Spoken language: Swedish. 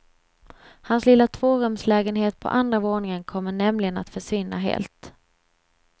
Hans lilla tvårumslägenhet på andra våningen kommer nämligen att försvinna helt.